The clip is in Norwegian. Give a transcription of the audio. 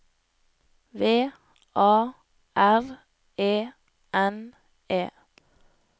V A R E N E